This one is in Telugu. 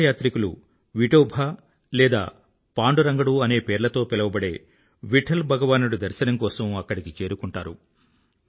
తీర్థయాత్రికులు లేదా విఠోబా లేదా పాండురంగడు అనే పేర్లతో పిలవబడే విఠ్ఠల్ భగవానుడి దర్శనం కోసం అక్కడికి చేరుకుంటారు